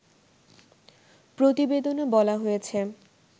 প্রতিবেদনে বলা হয়েছে